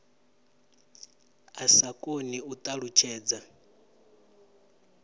a sa koni u ṱalutshedza